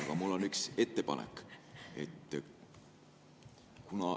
Aga mul on üks ettepanek.